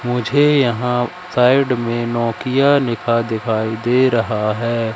मुझे यहां साइड में नोकिया लिखा दिखाई दे रहा है।